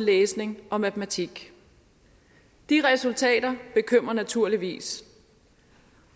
læsning og matematik de resultater bekymrer naturligvis